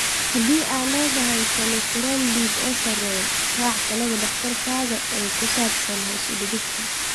Haddii aad leedahay kolestarool dhiig oo sarreeya, raac talada dhakhtarkaaga ee ku saabsan hoos u dhigista.